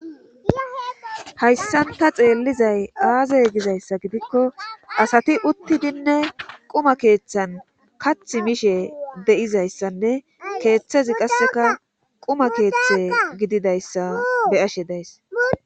Hayssan ta xeelliday aaze gizayssa gidikko asati uttidinne quma keethan kathi mishe de7izayssanne keethezi qasse quma keethe gididayssa be7ashe days